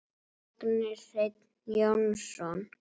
Magni Hreinn Jónsson